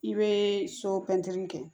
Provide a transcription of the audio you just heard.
I bɛ so pɛntiri kɛ